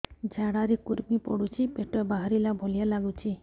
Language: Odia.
ଝାଡା ରେ କୁର୍ମି ପଡୁଛି ପେଟ ବାହାରିଲା ଭଳିଆ ଲାଗୁଚି